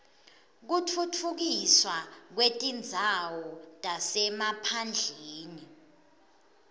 kutfutfukiswa kwetindzawo tasemaphandleni